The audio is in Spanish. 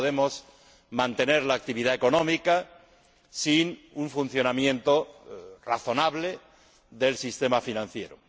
no podemos mantener la actividad económica sin un funcionamiento razonable del sistema financiero.